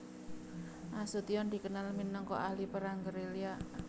Nasution dikenal minangka ahli perang gerilya